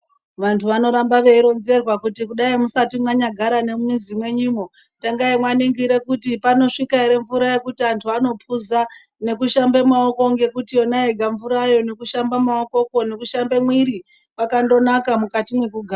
Vantu vanoramba veironzerwa kuti kudai musati mwanyagara nemumizi mwenyumwo tangai mwaningire kuti panosvika ere mvura yekuti antu anophuza nekushamba maoko ngekuti yona yega mvurayo nekushamba maokokwo nekushamba mwiri zvakandonaka mukati mwekugara.